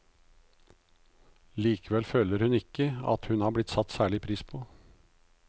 Likevel føler hun ikke at hun blir satt særlig pris på.